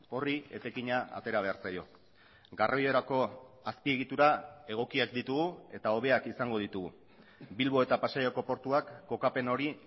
horri etekina atera behar zaio garraiorako azpiegitura egokiak ditugu eta hobeak izango ditugu bilbo eta pasaiako portuak kokapen hori